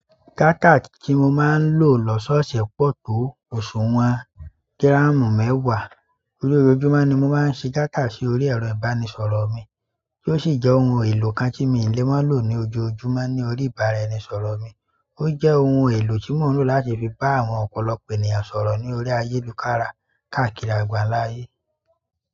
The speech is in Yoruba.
Dátà tí mo máa ń lò lọ́sọ̀ṣẹ̀ pọ̀ tó òsùwọ̀n gírámù mẹ́wàá. Lójoojúmọ́ ni mo máa ń ṣe dátà sí orí ẹ̀rọ ìbánisọ̀rọ̀ mi, tí ó sì jẹ́ ohun èlò kan tí mi le má lò ní ojoojúmọ́ ní orí ìbáraẹnisọ̀rọ̀ mi. Ó jẹ́ ohun èlò tí mò ń lò láti fi bá àwọn ọ̀pọ̀lọpọ̀ ènìyàn sọ̀rọ̀ ní orí ayélukára káàkiri àgbàńlá ayé.